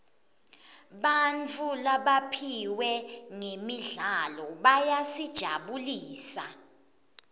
bantfu labaphiwe ngemidlalo bayasijabulisa